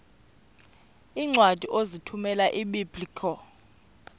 iincwadi ozithumela ebiblecor